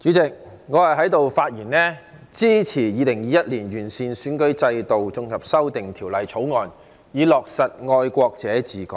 代理主席，我發言支持《2021年完善選舉制度條例草案》，以落實"愛國者治港"。